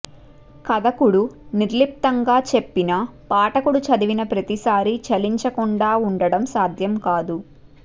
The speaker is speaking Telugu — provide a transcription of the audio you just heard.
కధకుడు నిర్లిప్తంగా చెప్పినా పాఠకుడు చదివిన ప్రతిసారీ చలించకుండా ఉండటం సాధ్యం కాదు